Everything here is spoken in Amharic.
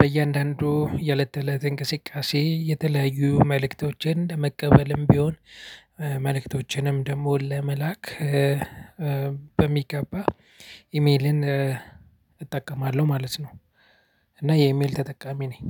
በእያንዳንዱ የእለት ተእለት እንቅስቃሴ የተለያዩ መልእክቶችን ለመቀበልም ቢሆን መልእክቶችንም ደግሞ ለመላክ። በሚገባ ኢሜልን እጠቀማለሁ ማለት ነው። እና የኢሜል ተጠቃሚ ነኝ